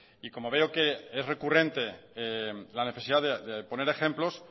y como veo que es recurrente la necesidad de poner ejemplos